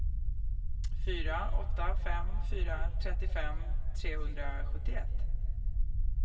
fyra åtta fem fyra trettiofem trehundrasjuttioett